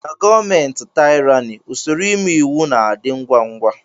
Na gọọmenti taịrani usoro ime iwu na - adị ngwá ngwá.